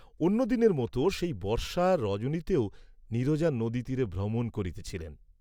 অন্যদিনের মত সেই বর্ষা রজনীতেও নীরজা নদীতীরে ভ্রমণ করিতেছিল।